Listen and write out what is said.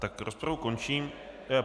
Tak rozpravu končím.